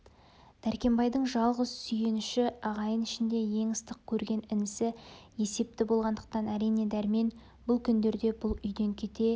дәркембайдың жалғыз сүйеніші ағайын ішінде ең ыстық көрген інісі есепті болғандықтан әрине дәрмен бұл күндерде бұл үйден кете